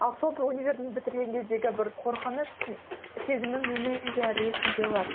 универді бітірген кездегі бір қорқыныш сезімі менің де әлі есімде бар